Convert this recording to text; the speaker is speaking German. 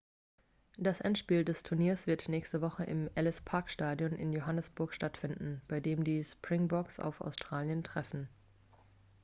das endspiel des turniers wird nächste woche im ellis-park-stadion in johannesburg stattfinden bei dem die springboks auf australien treffen